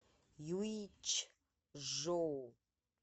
юйчжоу